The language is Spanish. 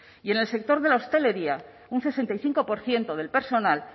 y en el sector de la hostelería un sesenta y cinco por ciento del personal